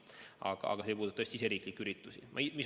Aga see ei puuduta tõesti riigisiseseid üritusi.